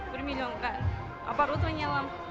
бір миллионға оборудование алам